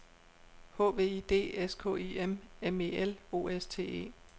H V I D S K I M M E L O S T E